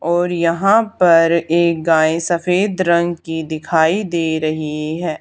और यहां पर एक गाय सफेद रंग की दिखाई दे रही है।